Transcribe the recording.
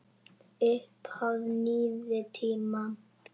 Upphaf nýrri tíma.